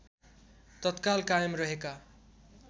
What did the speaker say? तत्काल कायम रहेका